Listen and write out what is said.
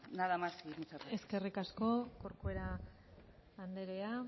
nada más y muchas gracias eskerrik asko corcuera andrea